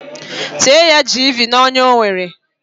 Tee ya jiivii n'onya ọ nwere.